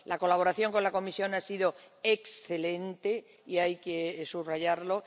La colaboración con la Comisión ha sido excelente y hay que subrayarlo.